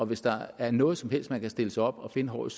hvis der er noget som helst man kan stille sig op og finde håret